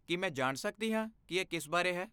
ਕੀ ਮੈਂ ਜਾਣ ਸਕਦੀ ਹਾਂ ਕਿ ਇਹ ਕਿਸ ਬਾਰੇ ਹੈ?